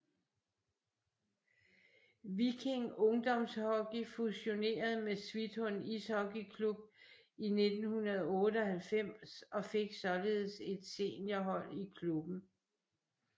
Viking Ungdomshockey fusionerede med Svithun Ishockeyklubb i 1998 og fik således et seniorhold i klubben